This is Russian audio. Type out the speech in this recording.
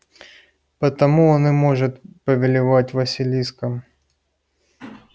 потому он и может повелевать василиском